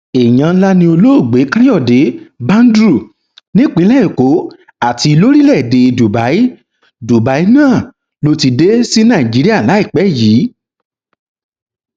èèyàn ńlá ni olóògbé káyọdé badru nípìnlẹ èkó àti lórílẹèdè dubai dubai náà ló ti dé sí nàìjíríà láìpẹ yìí